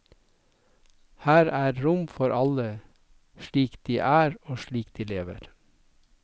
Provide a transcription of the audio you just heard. Her er rom for alle, slik de er og slik de lever.